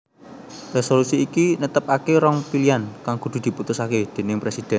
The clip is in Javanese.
Resolusi iki netepake rong pilian kang kudu diputusake déning presiden